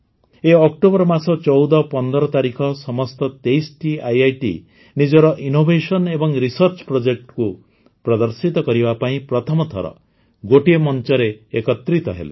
ଏହି ଅକ୍ଟୋବର ମାସ ୧୪ ୧୫ ତାରିଖ ସମସ୍ତ ୨୩ଟି ଆଇଆଇଟି ନିଜର ଇନୋଭେସନ୍ସ ଏବଂ ରିସର୍ଚ୍ଚ Projectକୁ ପ୍ରଦର୍ଶିତ କରିବା ପାଇଁ ପ୍ରଥମଥର ଗୋଟିଏ ମଞ୍ଚରେ ଏକତ୍ରିତ ହେଲେ